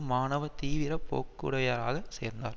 மாணவ தீவிர போக்குடையவராக சேர்ந்தார்